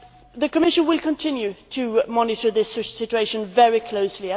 The Commission will continue to monitor this situation very closely.